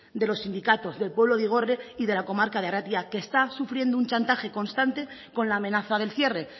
de los sindicatos del pueblo de igorre y de la comarca de arratia que está sufriendo un chantaje constante con la amenaza del cierre